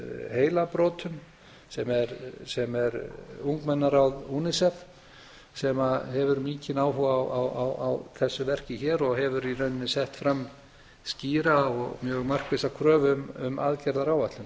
heilabrotum sem er ungmennaráð unicef sem hefur mikinn áhuga á þessu verki hér og hefur í raun sett fram skýra og mjög markvissa kröfu um aðgerðaáætlun